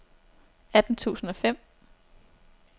atten tusind og fem